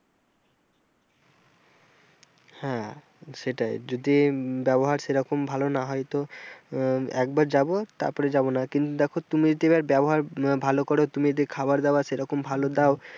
হ্যাঁ সেটাই যদি ব্যবহার সেরকম ভালো না হয় তো এ আহ কবার যাব তারপরে যাব না কিন্তু দেখো তুমি তোমার ব্যবহার ভালো করো, তুমি যদি খাবার দাবা সেরকম ভালো দাও,